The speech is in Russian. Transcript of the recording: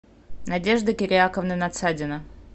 надежда кирияковна надсадина